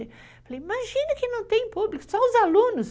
Eu falei, imagina que não tem público, só os alunos.